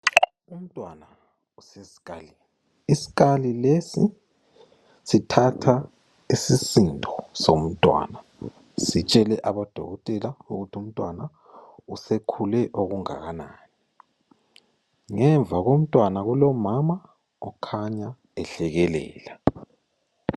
Umntwana usesikalini isikali lesi sithatha isisindo somntwana sitshele abodokotela ukuthi umntwana usekhule okungakanani ngemva komntwana kulomama okhanya ehlekelela.